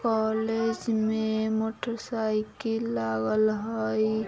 कॉलेज में motorcycle आवल हई।